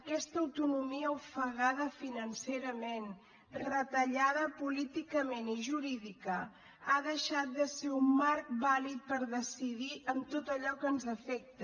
aquesta autonomia ofegada financerament retallada políticament i jurídica ha deixat de ser un marc vàlid per decidir en tot allò que ens afecta